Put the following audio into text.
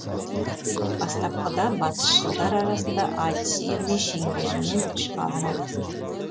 бастапқыда батысшылдар арасында айтыс үйірме шеңберінен шыға алмады